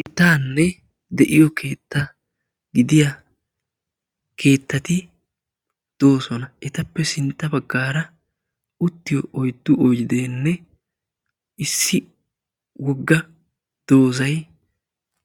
Keettaanne de'iyo keetta gidiya keettati doosona. etappe sintta baggaara uttiyo oyddu oyddeenne issi wogga doozay